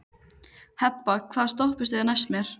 Hebba, hvaða stoppistöð er næst mér?